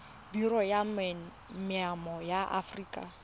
biro ya maemo ya aforika